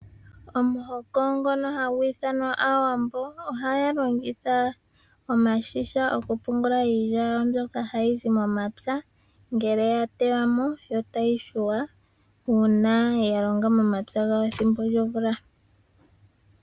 Omuhoko ngono hagu ithanwa aawambo, ohaya longitha omashisha okupungula iilya yawo mbyoka hayi zi momapya , ngele yateywa mo, to tayi hwithwa, uuna yalonga momapya gawo ethimbo lyomvula.